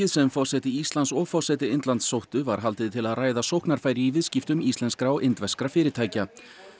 sem forseti Íslands og forseti Indlands sóttu var haldið til að ræða sóknarfæri í viðskiptum íslenskra og indverskra fyrirtækja